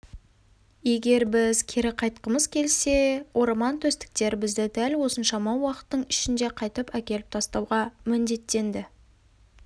егер біз кері қайтқымыз келсе ормантөстіктер бізді дәл осыншама уақыттың ішінде қайтып әкеліп тастауға міндеттенді